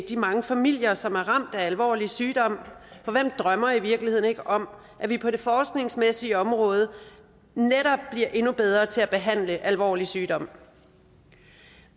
de mange familier som er ramt af alvorlig sygdom for hvem drømmer i virkeligheden ikke om at vi på det forskningsmæssige område netop bliver endnu bedre til at behandle alvorlig sygdom